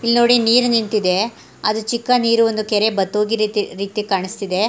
ಇಲ್ ನೋಡಿ ನೀರು ನಿಂತಿದೆ ಅದು ಚಿಕ್ಕ ನೀರು ಒಂದು ಕೆರೆ ಬತ್ ಹೋಗಿದ್ ರೀತಿ ಕಾಣಿಸ್ತಿದೆ .